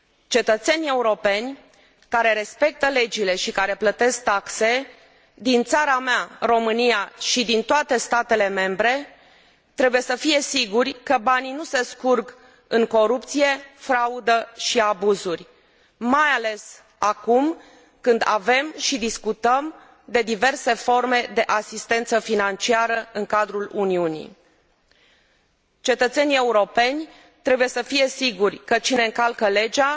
Cetățenii europeni care respectă legile și care plătesc taxe, din țara mea, România, și din toate statele membre trebuie să fie siguri că banii nu se scurg în corupție, fraudă și abuzuri. Mai ales acum, când avem și discutăm despre diverse forme de asistență financiară în cadrul Uniunii. Cetățenii europeni trebuie să fie siguri că cine încalcă legea